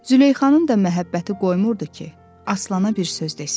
Züleyxanın da məhəbbəti qoymurdu ki, Aslana bir söz desin.